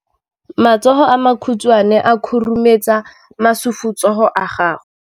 Matsogo a makhutshwane a khurumetsa masufutsogo a gago.